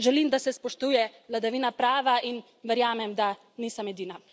Želim, da se spoštuje vladavina prava, in verjamem, da nisem edina.